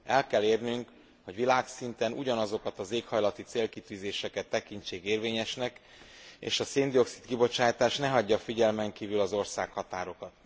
El kell érnünk, hogy világszinten ugyanazokat az éghajlati célkitűzéseket tekintsék érvényesnek, és a szén dioxid kibocsátás ne hagyja figyelmen kívül az országhatárokat.